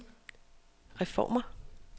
reformer